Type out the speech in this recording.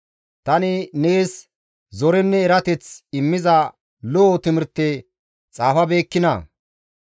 Tani neessi zorenne erateth immiza lo7o timirteta xaafabeekkinaa?